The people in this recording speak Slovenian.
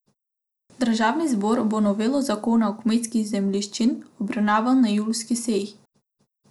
Državni zbor bo novelo zakona o kmetijskih zemljiščih obravnaval na julijski seji.